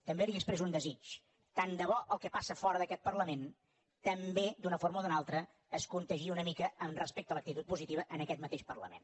també li expresso un desig tant de bo el que passa fora d’aquest parlament també d’una forma o d’una altra es contagiï una mica respecte a l’actitud positiva en aquest mateix parlament